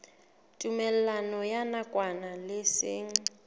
tumellano ya nakwana le seng